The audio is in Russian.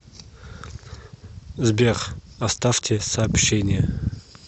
сбер оставьте сообщение